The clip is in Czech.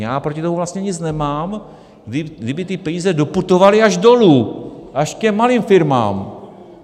Já proti tomu vlastně nic nemám, kdyby ty peníze doputovaly až dolů, až k těm malým firmám.